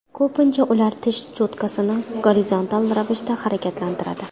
Ko‘pincha ular tish cho‘tkasini gorizontal ravishda harakatlantiradi.